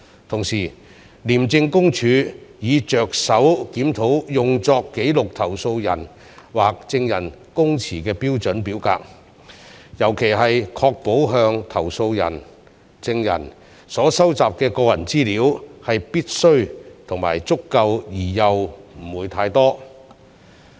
同時，廉政公署已着手檢討用作記錄投訴人或證人供詞的標準表格，尤其是要確保向投訴人/證人所收集的個人資料是必須及足夠而又不會過多。